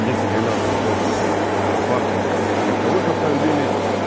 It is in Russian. десять двенадцать под паркинг легковых автомобилей